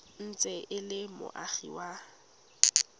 ntse e le moagi wa